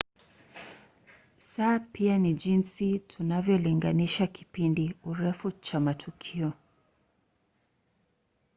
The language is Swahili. saa pia ni jinsi tunavyolinganisha kipindi urefu cha matukio